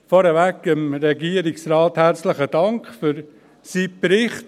Vorweg dem Regierungsrat herzlichen Dank für seinen Bericht.